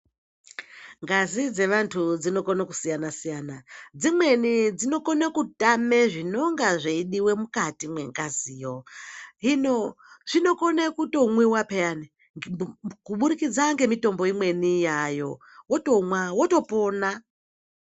Ngazi dzevantu dzinogono kusiyana siyana. Dzimweni dzinokone kutame zvinenga zveidiwa mwukati mwengaziyo. Hino zvinokone kutomwiwa pheyani, kuburikidza ngemitombo imweni yaayo, wotomwa wotopona.